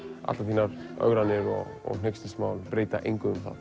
allar þínar ögranir og hneykslismál breyta engu um það